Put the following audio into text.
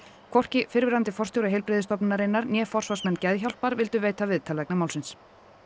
hvorki fyrrverandi forstjóri né forsvarsmenn Geðhjálpar vildu veita viðtal vegna málsins